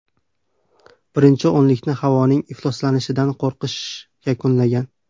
Birinchi o‘nlikni havoning ifloslanishidan qo‘rqish yakunlagan.